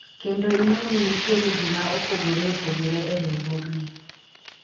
kendo ing'e ni nitiere jii ma opogore opogore e riwruogni